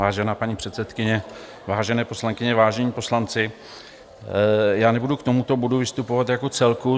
Vážená paní předsedkyně, vážené poslankyně, vážení poslanci, já nebudu k tomuto bodu vystupovat jako celku.